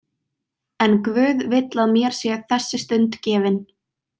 En Guð vill að mér sé þessi stund gefin.